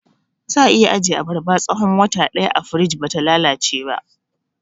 Za'a iya ajiye abarba tsahon wata ɗaya a firij bata lalace ba